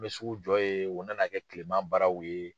N bɛ sugu jɔ ye u na na kɛ kileman baaraw ye.